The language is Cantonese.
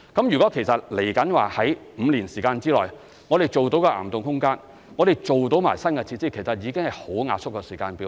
如果我們在未來5年時間內做到岩洞空間，也做到新的設施，其實已經是很壓縮的時間表。